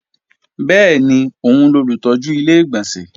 Bẹ́ẹ̀ni, òun lolùtọ́jú Ilé-ìgbọ̀nsẹ̀